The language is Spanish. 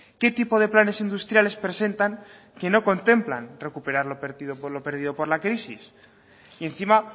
qué tipo de planes industriales presentan que no contemplan recuperar lo perdido por lo perdido por la crisis y encima